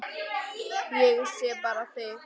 Ég sé bara þig!